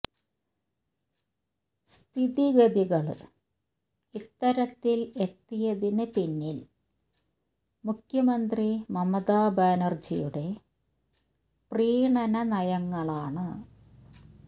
സ്ഥിതിഗതികള് ഇത്തരത്തില് എത്തിയതിന് പിന്നില് മുഖ്യമന്ത്രി മമത ബാനര്ജിയുടെ പ്രീണന നയങ്ങളാണ്